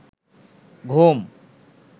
ঘুম